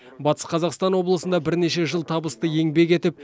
батыс қазақстан облысында бірнеше жыл табысты еңбек етіп